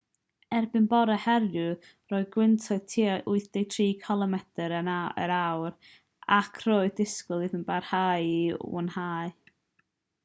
erbyn bore heddiw roedd gwyntoedd tua 83 cilomedr yr awr ac roedd disgwyl iddo barhau i wanhau